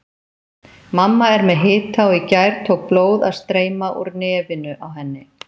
Mamma er með hita og í gær tók blóð að streyma úr nefinu á henni.